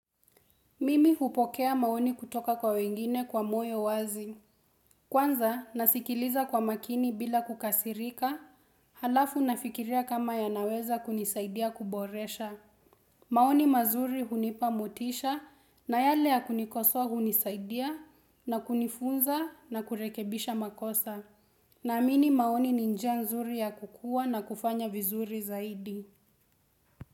Mimi hupokea maoni kutoka kwa wengine kwa moyo wazi. Kwanza nasikiliza kwa makini bila kukasirika, halafu nafikiria kama yanaweza kunisaidia kuboresha. Maoni mazuri hunipa motisha na yale ya kunikosoa hunisaidia na kunifunza na kurekebisha makosa. Naamini maoni ni njia nzuri ya kukua na kufanya vizuri zaidi.